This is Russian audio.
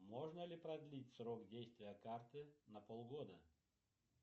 можно ли продлить срок действия карты на полгода